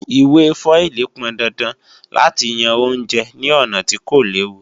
Ìwé fọ́ílì pọndandan láti yan oúnjẹ ní ọ̀nà tí kò léwu